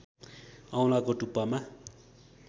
औंलाको टुप्पामा